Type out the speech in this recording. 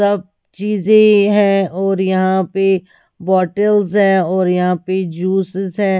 सब चीजें है और यहां पे बॉटल्स है और यहां पे जूसेस है।